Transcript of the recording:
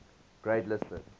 grade listed